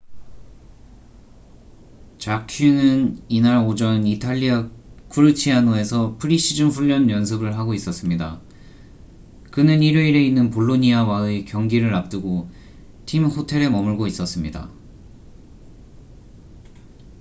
jarque는 이날 오전 이탈리아 쿠르치아노에서 프리시즌 훈련 연습을 하고 있었습니다 그는 일요일에 있는 볼로니아와의 경기를 앞두고 팀 호텔에 머물고 있었습니다